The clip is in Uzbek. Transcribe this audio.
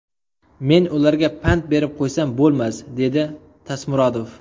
Men ularga pand berib qo‘ysam bo‘lmasdi”, – dedi Tasmurodov.